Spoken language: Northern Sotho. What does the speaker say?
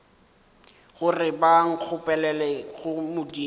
gore ba nkgopelele go modimo